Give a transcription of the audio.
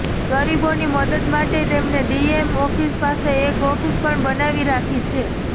ગરીબોની મદદ માટે તેમને ડીએમ ઓફિસ પાસે એક ઓફિસ પણ બનાવી રાખી છે